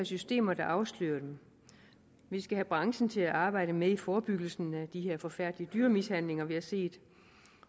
systemer der afslører dem vi skal have branchen til at arbejde med i forebyggelsen af de her forfærdelige dyremishandlinger vi har set